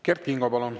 Kert Kingo, palun!